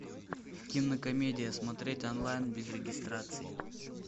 кинокомедия смотреть онлайн без регистрации